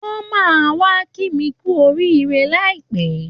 Wọ́n máà wá kí mi kú oríire láìpẹ́